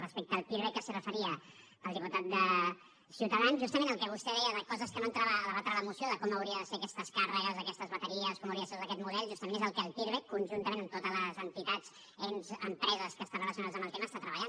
respecte al pirvec que s’hi referia el diputat de ciutadans justament el que vostè deia de coses que no entrava a debatre la moció com haurien de ser aquestes càrregues aquestes bateries com hauria de ser tot aquest model justament és el que el pirvec conjuntament amb totes les entitats ens i empreses que estan relacionades amb el tema està treballant